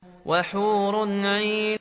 وَحُورٌ عِينٌ